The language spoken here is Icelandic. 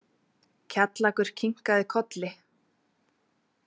Kjallakur kinkaði kolli.